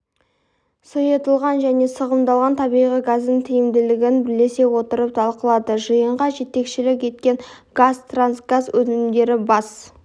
сұйытылған және сығымдалған табиғи газдың тиімділігін бірлесе отырып талқылады жиынға жетекшілік еткен қазтрансгаз өнімдері бас